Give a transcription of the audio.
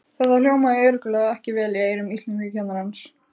Þetta hljómaði örugglega ekki vel í eyrum íslenskukennarans!